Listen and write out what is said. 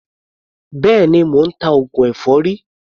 Béèni, mò ń ta oògùn èfọ́rí.